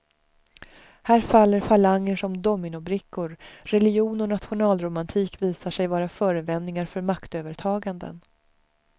Här faller falanger som dominobrickor, religion och nationalromantik visar sig vara förevändningar för maktövertaganden.